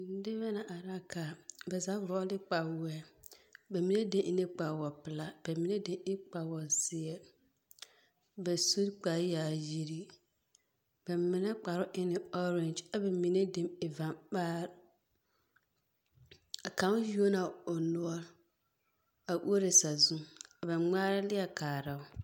Nebɛ la ara ka. Bɛ zaa vɔgle kpawoɔɛ. Bɛ mine den e ne kpawopelaa bɛ mine den e kpawozeɛ. Bɛ sun kpareyaayiri, bɛ mine kpare e ne ɔɔrangy ɛ bɛ mine den e vamaar. A kaŋ yuo na o noɔre, a uoro sazuŋ ɛ ba ŋmaar leɛ kaara o.